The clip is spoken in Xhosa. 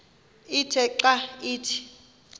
ithe xa ithi